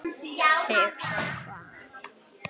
Þig sagði konan.